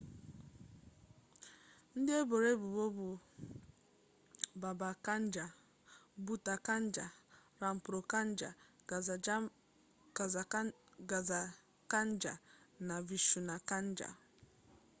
ndị eboro ebubo bụ baba kanjar bhutha kanjar rampro kanjar gaza kanjar na vishnu kanjar